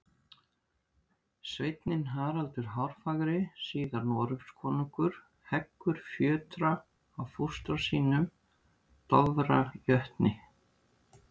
Sveinninn Haraldur hárfagri, síðar Noregskonungur, heggur fjötra af fóstra sínum, Dofra jötni.